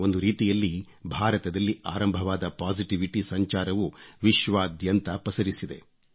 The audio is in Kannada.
ಒಂದು ರೀತಿಯಲ್ಲಿ ಭಾರತದಲ್ಲಿ ಆರಂಭವಾದ ಪಾಸಿಟಿವಿಟಿ ಸಂಚಾರವು ವಿಶ್ವಾದ್ಯಂತ ಪಸರಿಸಿದೆ